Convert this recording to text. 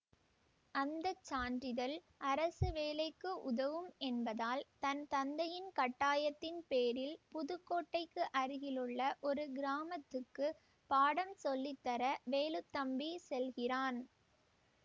அந்த சான்றிதழ் அரசு வேலைக்கு உதவும் என்பதால் தன் தந்தையின் கட்டாயத்தின் பேரில் புதுக்கோட்டைக்கு அருகிலுள்ள ஒரு கிராமத்துக்கு பாடம் சொல்லித்தர வேலுத்தம்பி செல்கிறான்